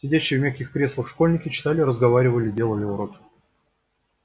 сидящие в мягких креслах школьники читали разговаривали делали уроки